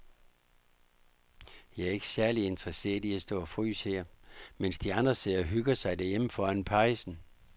Jeg er ikke særlig interesseret i at stå og fryse her, mens de andre sidder og hygger sig derhjemme foran pejsen.